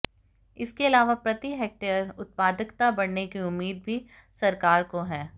इसके अलावा प्रति हेक्टेयर उत्पादकता बढऩे की उम्मीद भी सरकार को है